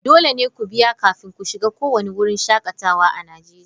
Dole ne ku biya kafin ku shiga kowane wurin shakatawa a Najeriya.